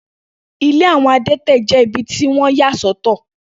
Ilé àwọn adẹ́tẹ̀ dàbìí ibi tí wọ́n yà sọ́tọ̀.